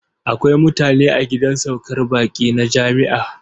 Akwai mutane a gidan saukar baƙi na jami'a.